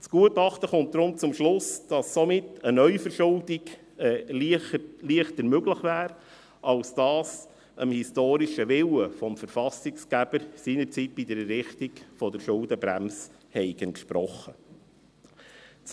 Das Gutachten kommt deshalb zum Schluss, dass somit eine Neuverschuldung leichter möglich wäre, als dies dem historischen Willen des Verfassungsgebers seinerzeit bei der Errichtung der Schuldenbremse entsprochen habe.